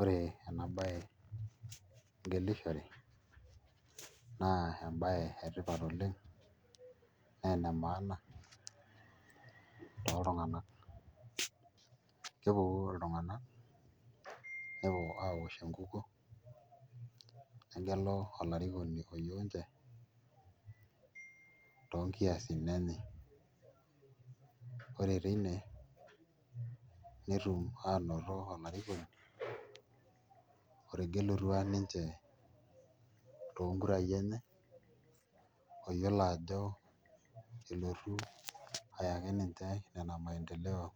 Ore ena baye engelare naa embaye etipat oleng' naa ene maana toltung'anak kepuku iltunganak nepuo aaosh enkukuo negelu olarikoni oyieu ninche toonkuasin enye ore teine netum aanoto olarikoni otegelutua ninche toonkurai enye oyiolo ajo eletu ayaki ninche ina maendeleo